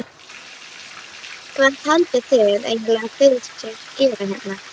Skálinn var einn geimur og allur þiljaður innan með panel.